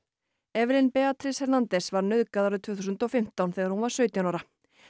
Beatriz Hernández var nauðgað árið tvö þúsund og fimmtán þegar hún var sautján ára